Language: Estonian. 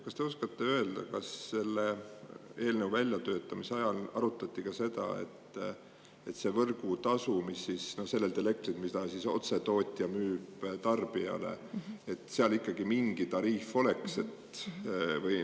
Kas te oskate öelda, kas selle eelnõu väljatöötamise ajal arutati ka seda, et võrgutasul sellelt elektrilt, mida tootja müüb otse tarbijale, ikkagi mingi tariif oleks?